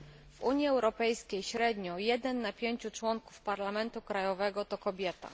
W Unii Europejskiej średnio jeden na pięciu członków parlamentu krajowego to kobieta.